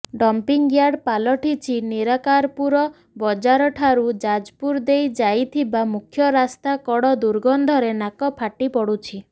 dumping yard ପାଲଟିଛି ନିରାକାରପୁର ବଜାରଠାରୁ ଯାଜପୁର ଦେଇ ଯାଇଥିବା ମୁଖ୍ୟରାସ୍ତା କଡ଼ ଦୁର୍ଗନ୍ଧରେ ନାକ ଫାଟିପଡୁଛି